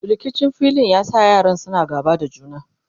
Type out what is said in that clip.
rikicin filin ya sa yaran suna gaba da juna